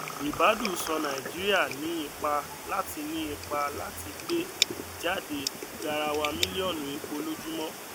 ribadu sọ nàìjíríà ní ipá láti ní ipá láti gbé jáde garawa mílíọnù epọ lójúmọ